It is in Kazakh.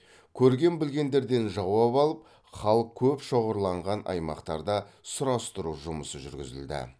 көрген білгендерден жауап алып халық көп шоғырланған аймақтарда сұрастыру жұмысы жүргізілді